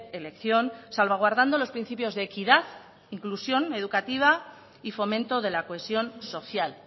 elección salvaguardando los principios de equidad inclusión educativa y fomento de la cohesión social